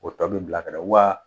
O tɔ bi bila kɛnɛ wa